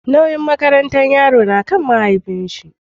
Nauyin makaranta yaro nakan mahaifi shi